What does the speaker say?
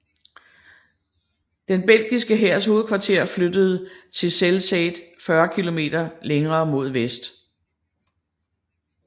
Den belgiske hærs hovedkvarter flyttede til Zelzate 40 km længere mod vest